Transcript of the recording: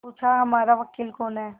पूछाहमारा वकील कौन है